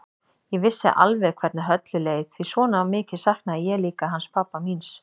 Ég vissi alveg hvernig Höllu leið því svona mikið saknaði ég líka hans pabba míns.